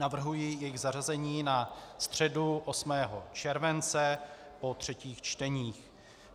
Navrhuji jejich zařazení na středu 8. července po třetích čteních.